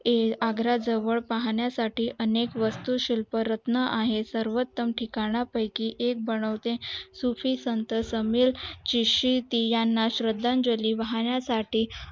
आग्रा जवळ पाहण्या साठी अनेक वस्तू शिल्प रत्न आहेत सर्वात्म ठिकाणा बनवले सुफी संत शिशी याना श्रद्धांजली वाहाण्य साठी